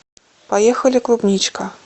поехали клубничка